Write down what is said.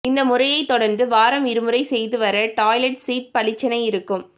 இந்த முறையை தொடர்ந்து வாரம் இருமுறை செய்து வர டாய்லெட் சீட் பளிச்சென இருக்கு